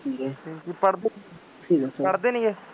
ਪੜ੍ਹਦੇ ਪੜ੍ਹਦੇ ਨੀ ਗੇ